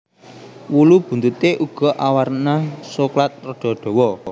Wulu buntuté uga awarna soklat rada dawa